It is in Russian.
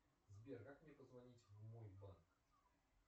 сбер как мне позвонить в мой банк